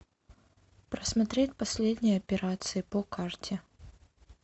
просмотреть последние операции по карте